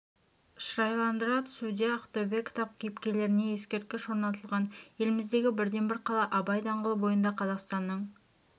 шырайландыра түсуде ақтөбе кітап кейіпкерлеріне ескерткіш орнатылған еліміздегі бірден бір қала абай даңғылы бойында қазақстанның